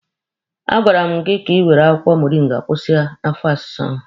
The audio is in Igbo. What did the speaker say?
A gwara m gị ka ị were akwụkwọ moringa kwụsị afọ ọsịsa ahụ!